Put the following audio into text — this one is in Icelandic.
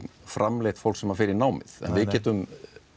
framleitt fólk sem fer í námið en við getum